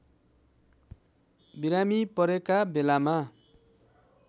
बिरामी परेका बेलामा